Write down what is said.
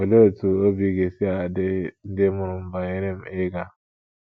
Olee otú obi ga - esi adị ndị mụrụ m banyere m ịga?